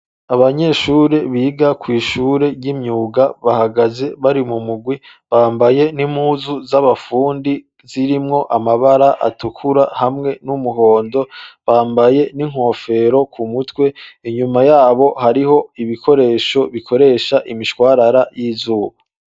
Abanyeshure, biga kw'ishure ry'imyuga, bahagaze, bari mu mugwi, bambaye n'impuzu z'abafundi, zirimwo amabara atukura, hamwe n'umuhondo; bambaye n'inkofero ku mutwe; inyuma yabo, hariho ibikoresho, bikoresha imishwarara, y'izuba.